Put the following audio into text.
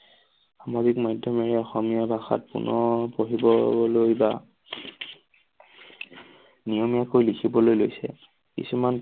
সামাজিক মাধ্যমেৰে অসমীয়া ভাষাত পুনৰ পঢ়িবলৈ বা নিয়মীয়াকৈ লিখিবলৈ লৈছে কিছুমান